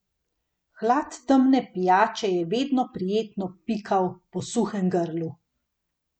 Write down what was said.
Hlad temne pijače je vedno prijetno pikal po suhem grlu.